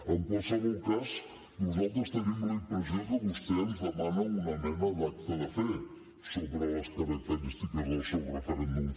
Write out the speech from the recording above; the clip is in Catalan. en qualsevol cas nosaltres tenim la impressió que vostè ens demana una mena d’acte de fe sobre les característiques del seu referèndum